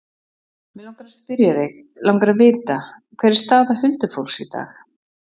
Mig langar að spyrja þig. langar að vita. hver er staða huldufólks í dag?